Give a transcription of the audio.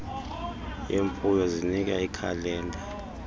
yemfuyo zinika iikhalenda